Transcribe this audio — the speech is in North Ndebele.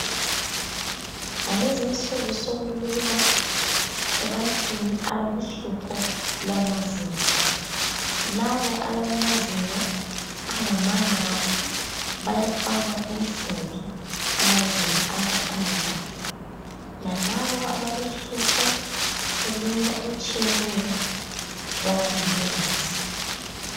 Ngalezinsuku sokulula ebantwini abalohlupho lwamazinyo. Labo abalamazinyo angamanga kahle bayafakwa insimbi amazinyo aze ame kahle. Lalabo abalohlupho olunye olutshiyeneyo bayalulungisa.